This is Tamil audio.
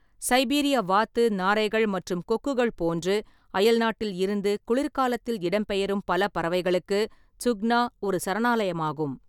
சைபீரிய வாத்து, நாரைகள் மற்றும் கொக்குகள் போன்று அயல்நாட்டில் இருந்து குளிர் காலத்தில் இடம்பெயரும் பல பறவைகளுக்கு சுக்னா ஒரு சரணாலயமாகும்.